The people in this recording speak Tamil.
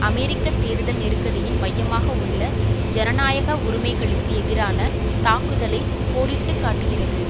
அமெரிக்க தேர்தல் நெருக்கடியின் மையமாக உள்ள ஜனநாயக உரிமைகளுக்கு எதிரான தாக்குதலை கோடிட்டு காட்டுகின்றது